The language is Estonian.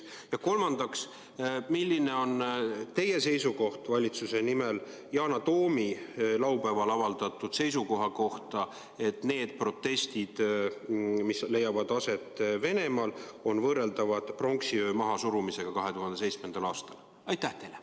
Ja kolmandaks: milline on teie valitsuse seisukoht Yana Toomi laupäeval avaldatud seisukoha kohta, et need protestid, mis leiavad aset Venemaal, on võrreldavad pronksiöö mahasurumisega 2007. aastal?